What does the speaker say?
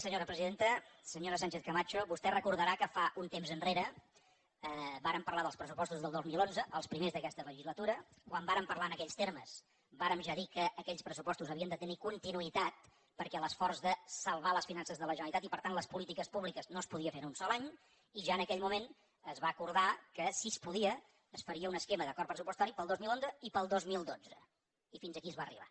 senyora sánchez camacho vostè deu recordar que un temps enrere vàrem parlar dels pressupostos del dos mil onze els primers d’aquesta legislatura quan vàrem parlar en aquells termes vàrem ja dir que aquells pressupostos havien de tenir continuïtat perquè l’esforç de salvar les finances de la generalitat i per tant les polítiques públiques no es podia fer en un sol any i ja en aquell moment es va acordar que si es podia es faria un esquema d’acord pressupostari per al dos mil onze i per al dos mil dotze i fins aquí es va arribar